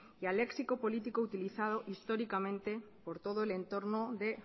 y al léxico político utilizado históricamente por todo el entorno de